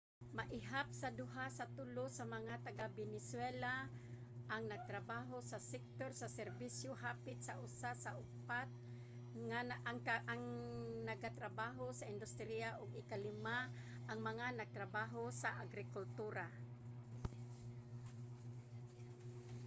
maihap sa duha sa tulo sa mga taga-venezuela ang nagatrabaho sa sektor sa serbisyo hapit sa usa sa upat ang nagatrabaho sa industriya ug ikalima ang mga nagtrabaho sa agrikultura